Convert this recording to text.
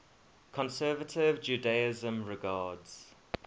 conservative judaism regards